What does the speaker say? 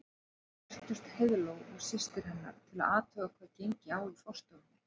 Nú birtust Heiðló og systir hennar til að athuga hvað gengi á í forstofunni.